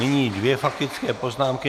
Nyní dvě faktické poznámky.